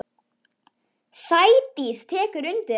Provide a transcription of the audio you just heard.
Sædís tekur undir þetta.